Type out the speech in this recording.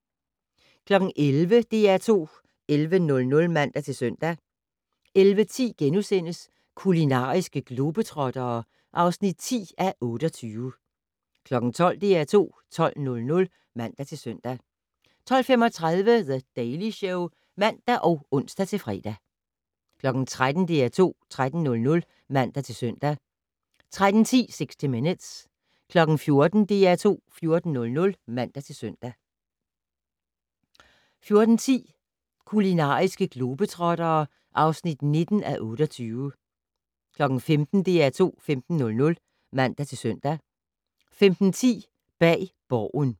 11:00: DR2 11:00 (man-søn) 11:10: Kulinariske globetrottere (10:28)* 12:00: DR2 12:00 (man-søn) 12:35: The Daily Show (man og ons-fre) 13:00: DR2 13:00 (man-søn) 13:10: 60 Minutes 14:00: DR2 14:00 (man-søn) 14:10: Kulinariske globetrottere (19:28) 15:00: DR2 15:00 (man-søn) 15:10: Bag Borgen